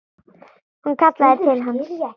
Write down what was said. Hún kallaði til hans.